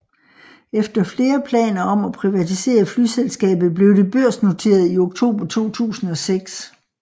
Efter flere planer om at privatisere flyselskabet blev det børsnoteret i oktober 2006